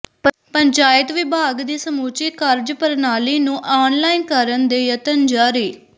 ਪੰਚਾਇਤ ਵਿਭਾਗ ਦੀ ਸਮੁੱਚੀ ਕਾਰਜਪ੍ਰਣਾਲੀ ਨੂੰ ਆਨਲਾਈਨ ਕਰਨ ਦੇ ਯਤਨ ਜਾਰੀ